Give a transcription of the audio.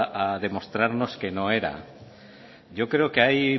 a demostrarnos que no era yo creo que hay